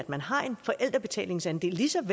man har en forældrebetalingsandel ligesom